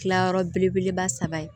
Kilayɔrɔ belebeleba saba ye